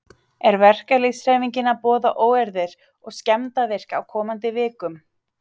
Er verkalýðshreyfingin að boða óeirðir og skemmdarverk á komandi vikum?